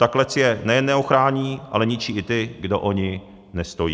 Ta klec je nejen neochrání, ale ničí i ty, kdo o ni nestojí.